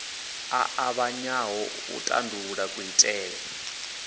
a ṱavhanyaho u tandulula kuitele